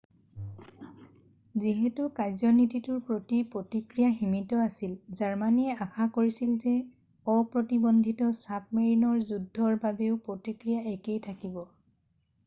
যিহেতু কাৰ্যনীতিটোৰ প্ৰতি প্ৰতিক্ৰিয়া সীমিত আছিল জাৰ্মানীয়ে আশা কৰিছিল যে অপ্ৰতিবন্ধিত ছাবমেৰিনৰ যুদ্ধৰ বাবেও প্ৰতিক্ৰিয়া একেই থাকিব